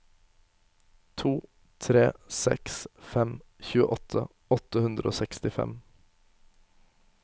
to tre seks fem tjueåtte åtte hundre og sekstifem